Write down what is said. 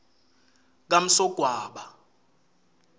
kamsogwaba